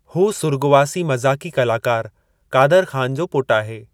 हू सुर्ॻवासी मज़ाक़ी कलाकारु क़ादरु ख़ान जो पुटु आहे।